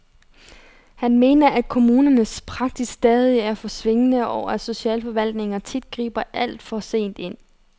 Han mener, at kommunernes praksis stadig er for svingende, og at socialforvaltningerne tit griber alt for sent ind.